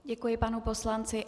Děkuji panu poslanci.